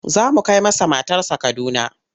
Za mu kai masa matarsa Kaduna.